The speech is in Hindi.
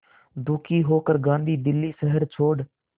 दुखी होकर गांधी दिल्ली शहर छोड़